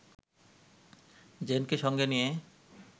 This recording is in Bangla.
জেনকে সঙ্গে নিয়ে